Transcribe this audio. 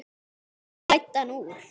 Og hver klæddi hann úr?